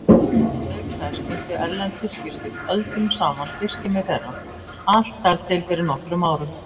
Auk þess nýttu erlend fiskiskip öldum saman fiskimið þeirra, allt þar til fyrir nokkrum árum.